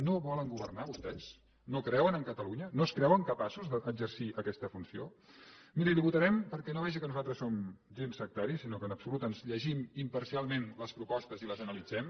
no volen governar vostès no creuen en catalunya no es creuen capaços d’exercir aquesta funció miri li ho votarem perquè vegi que nosaltres no som gens sectaris sinó que en absolut ens llegim imparcialment les propostes i les analitzem